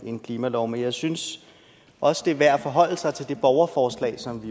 en klimalov men jeg synes også det er værd at forholde sig til det borgerforslag som